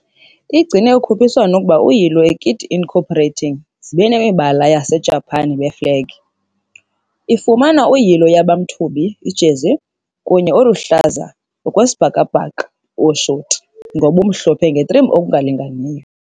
igcine a ukhuphiswano ukuba uyilo a kit incorporating ezine imibala ye-Isijapani beflegi. - ifumana uyilo yaba mthubi jersey kunye oluhlaza trim okwesibhakabhaka shorts ngobumhlophe trim ngokulinganayo!